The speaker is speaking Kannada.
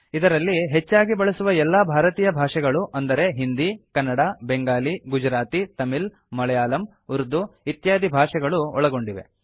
ಇದರಲ್ಲಿ ಹೆಚ್ಚಾಗಿ ಬಳಸುವ ಎಲ್ಲಾ ಭಾರತೀಯ ಭಾಷೆಗಳು ಅಂದರೆ ಹಿಂದಿ ಕನ್ನಡ ಬೆಂಗಾಲಿ ಗುಜರಾತಿ ತಮಿಳ್ ಮಳಯಾಲಮ್ ಉರ್ದು ಇತ್ಯಾದಿ ಭಾಷೆಗಳು ಒಳಗೊಂಡಿವೆ